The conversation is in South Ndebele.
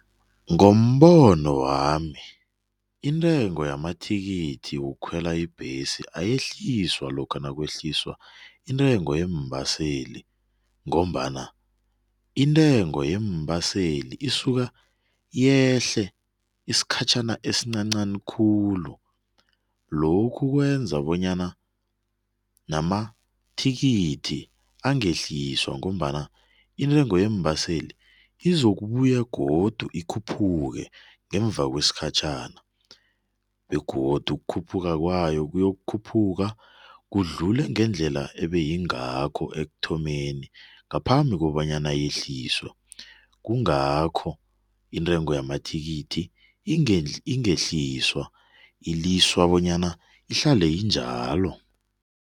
Ngombono wami, intengo yamathikithi wokukhwela ibhesi ayehliswa lokha nakwehliswa intengo yeembaseli ngombana intengo yeembaseli isuka yehle isikhatjhana esincancani khulu. Lokhu kwenza bonyana namathikithi angehliswa ngombana intego yeembaseli izokubuya godu ikhuphuke ngemuva kwesikhatjhana. Begodu ukukhuphuka kwayo, kukhuphuka idlule ngendlela ebeyingakho ekuthomeni ngaphambi kobanyana yehliswe. Kungakho intengo yamathikithi ingehliswa iliswa bonyana ihlale injalo.